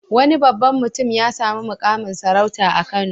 Wani babban mutum ya sami muƙamin sarauta a Kano.